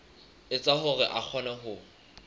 etsa hore a kgone ho